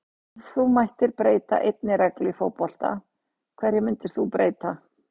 Já Ef þú mættir breyta einni reglu í fótbolta, hverju myndir þú breyta?